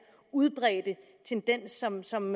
udbredte tendens som som